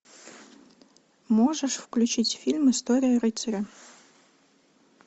можешь включить фильм история рыцаря